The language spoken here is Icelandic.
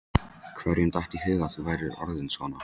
Hverjum datt í hug að þú værir orðinn svona